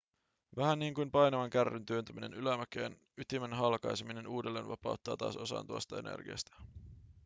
vähän niin kuin painavan kärryn työntäminen ylämäkeen ytimen halkaiseminen uudelleen vapauttaa taas osan tuosta energiasta